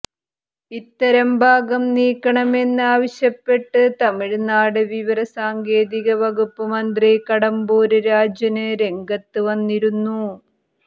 ഇത്തരം ഭാഗം നീക്കണമെന്ന് ആവശ്യപ്പെട്ട് തമിഴ്നാട് വിവരസാങ്കേതിക വകുപ്പ് മന്ത്രി കടമ്പൂര് രാജന് രംഗത്തുവന്നിരുന്നു